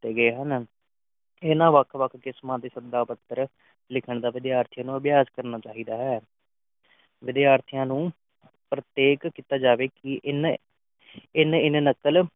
ਕੀਤੇ ਗਏ ਹਨ ਇਨ੍ਹਾਂ ਵੱਖ ਵੱਖ ਕਿਸਮ ਦੇ ਸਦਾ ਪੱਤਰ ਲਿਖਨ ਦਾ ਵਿਦਿਆਰਥੀਆਂ ਨੂੰ ਅਭਿਆਸ ਕਰਨਾ ਚਾਹੀਦਾ ਹੈ ਵਿਦਿਆਰਥੀਆਂ ਨੂੰ ਪ੍ਰਤੇਕ ਕੀਤਾ ਜਾਵੇ ਕਿ ਇਨ ਇਨ ਇਨ ਨਕਲ